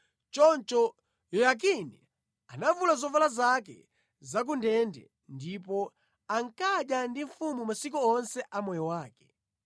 Choncho Yoyakini anavula zovala zake za ku ndende, ndipo ankadya ndi mfumu masiku onse a moyo wake.